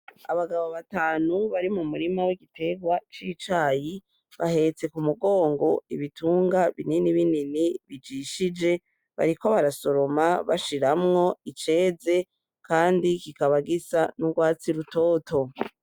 Abagabo batanu bari mu murima w'igiterwa c'icayi, bahetse k'umugongo ibitunga binini binini bijishije bariko barasoroma bashiramwo iceze kandi kikaba gisa n'urwatsi rutoto.